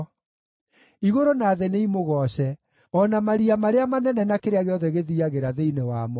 Igũrũ na thĩ nĩimũgooce, o na maria marĩa manene na kĩrĩa gĩothe gĩthiiagĩra thĩinĩ wamo,